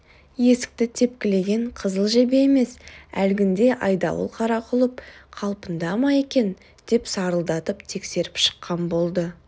есікті тепкілеген қызыл жебе емес әлгіндей айдауыл қара құлып қалпында ма екен деп салдыратып тексеріп шыққан болды